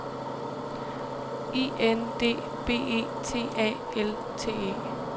I N D B E T A L T E